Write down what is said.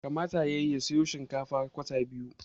Kamata yayi ya siyo kwata biyu na shikenan